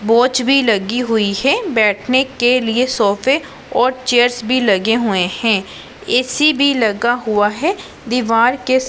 watch भी लगी हुई है बैठने के लिए सोफे और चेयर्स लगे हुए है ए_सी भी लगा हुआ है दीवार के--